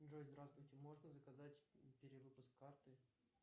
джой здравствуйте можно заказать перевыпуск карты